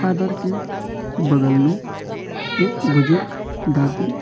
Father के बगल में एक बुजुर्ग दादी।